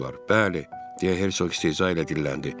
Bəli, deyə Hersoq istehza ilə dilləndi.